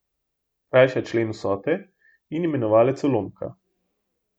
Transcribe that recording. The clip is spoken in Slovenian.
Krajša člen vsote in imenovalec ulomka.